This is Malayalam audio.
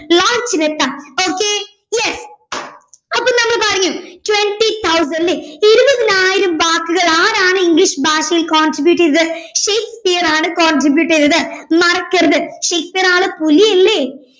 launch നെത്തുവാ okay yes അപ്പൊ നമ്മള് പറഞ്ഞു twenty thousand അല്ലെ ഇരുപതിനായിരം വാക്കുകൾ ആരാണ് ഇംഗ്ലീഷ് ഭാഷയിൽ contribute ചെയ്തത് ഷേക്സ്പിയർ ആണ് contribute ചെയ്തത് മറക്കരുത് ഷേക്സ്പിയർ ആള് പുലിയല്ലേ